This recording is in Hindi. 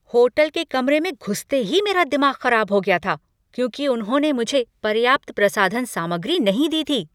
होटल के कमरे में घुसते ही मेरा दिमाग ख़राब हो गया क्योंकि उन्होंने मुझे पर्याप्त प्रसाधन सामग्री नहीं दी थी।